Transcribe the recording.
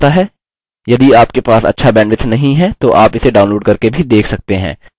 यदि आपके पास अच्छा bandwidth नहीं है तो आप इसे download करके भी देख सकते हैं